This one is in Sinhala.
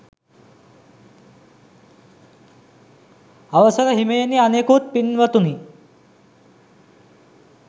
අවසර හිමියනි අනෙකුත් පින්වතුනි